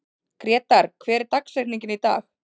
Grétar, hver er dagsetningin í dag?